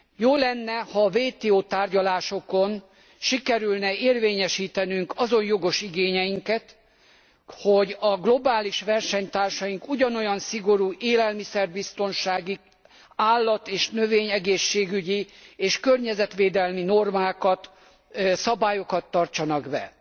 Jó lenne, ha a WTO tárgyalásokon sikerülne érvényesítenünk azon jogos igényeinket, hogy a globális versenytársaink ugyanolyan szigorú élelmiszer biztonsági, állat és növény egészségügyi és környezetvédelmi normákat, szabályokat tartsanak be.